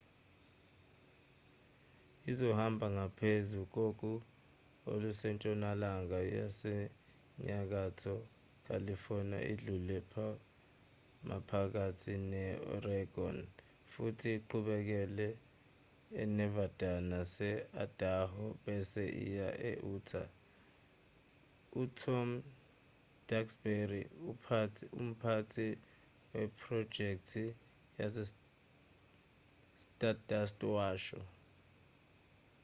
izohamba ngaphezu kogu olusentshonalanga yasenyakatho california idlule maphakathi ne-oregon futhi iqhubekele enevada nase-idaho bese iya e-utah u-tom duxbury umphathi wephrojekthi yestardust washo